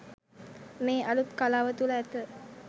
මේ අලුත් කලාව තුළ ඇත